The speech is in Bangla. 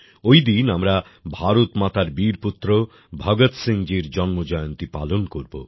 ঐদিন আমরা ভারত মাতার বীরপুত্র ভগৎ সিং জীর জন্ম জয়ন্তী পালন করব